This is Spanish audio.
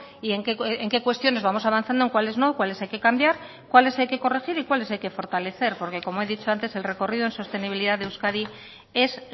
y en qué cuestiones vamos avanzando en cuáles no cuáles hay que cambiar cuáles hay que corregir y cuáles hay que fortalecer porque como he dicho antes el recorrido en sostenibilidad de euskadi es